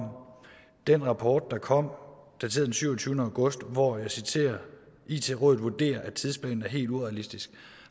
den rapport der kom dateret den syvogtyvende august hvor jeg citerer it rådet vurderer at tidsplanen er helt urealistisk